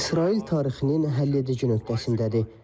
İsrail tarixinin həlledici nöqtəsindədir.